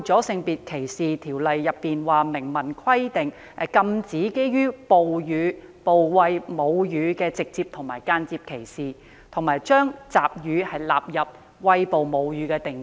《性別歧視條例》明文規定，禁止對餵哺母乳的婦女的直接或間接歧視，並將集乳包括在餵哺母乳的定義內。